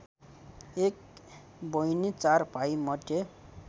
एक बहिनी ४ भाइमध्ये